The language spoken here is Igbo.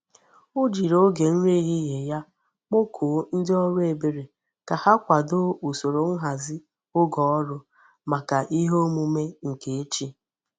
O jiri oge nri ehihe ya kpokuo ndi órú ebere ka ha kwado usoro nhazi oge órú maka ihe omume nke echi